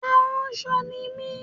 Aránṣọ ni mí